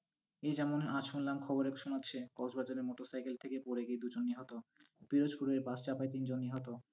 এই যেমন আজ শুনলাম খবরে শোনাচ্ছে, কক্সবাজারে মোটর সাইকেল থেকে পড়ে গিয়ে দু'জন নিহত, ফিরোজপুরে বাস চাপায় তিনজন নিহত,